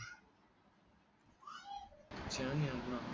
चान यांना